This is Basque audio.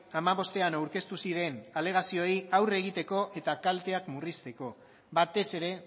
hamabostean aurkeztu ziren alegazioei aurre egiteko eta kalteak murrizteko batez ere